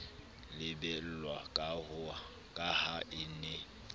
lebellwa ka ha e ne